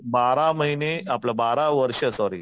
बारा महिने आपलं बारा वर्ष सॉरी